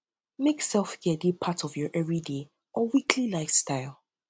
um make selfcare dey part of um your everyday or weekly lifestyle